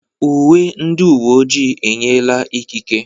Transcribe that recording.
Uwe ndị uwe ojii enyela ikike.